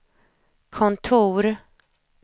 kontor